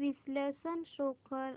विश्लेषण शो कर